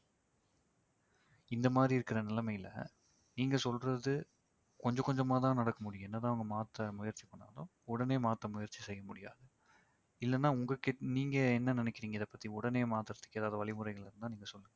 இந்த மாதிரி இருக்கிற நிலைமையில நீங்க சொல்றது கொஞ்ச கொஞ்சமா தான் நடக்க முடியும் என்னதான் அவங்க மாத்த முயற்சி பண்ணாலும் உடனே மாத்த முயற்சி செய்ய முடியாது. இல்லனா உங்க கிட்ட~ நீங்க என்ன நினைக்கிறீங்க இத பத்தி உடனே மாத்தறதுக்கு ஏதாவது வழிமுறைகள் இருந்தா நீங்க சொல்லுங்க